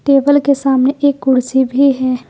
Table के सामने एक कुर्सी भी है।